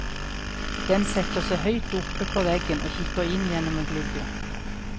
Den setter seg høyt oppe på veggen, og kikker inn gjennom en glugge.